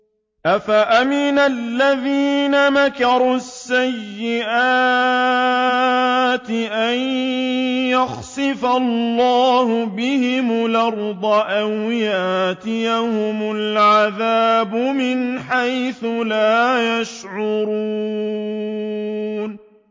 أَفَأَمِنَ الَّذِينَ مَكَرُوا السَّيِّئَاتِ أَن يَخْسِفَ اللَّهُ بِهِمُ الْأَرْضَ أَوْ يَأْتِيَهُمُ الْعَذَابُ مِنْ حَيْثُ لَا يَشْعُرُونَ